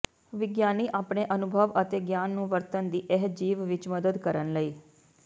ਵਿਗਿਆਨੀ ਆਪਣੇ ਅਨੁਭਵ ਅਤੇ ਗਿਆਨ ਨੂੰ ਵਰਤਣ ਦੀ ਇਹ ਜੀਵ ਵਿਚ ਮਦਦ ਕਰਨ ਲਈ